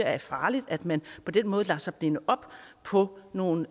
er farligt at man på den måde lader sig binde op på nogle